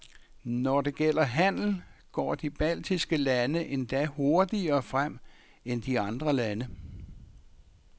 Når det gælder handel, går de baltiske lande endda hurtigere frem end de andre lande.